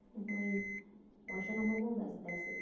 এখন ওই পয়সা কামাবো ব্যাস that's it